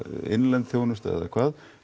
innlend þjónusta eða hvað